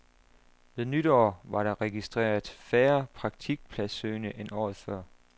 Ved nytår var der registreret færre praktikpladssøgende end året før.